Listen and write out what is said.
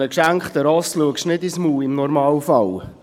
Einem geschenkten Pferd schaust du nicht ins Maul – im Normalfall.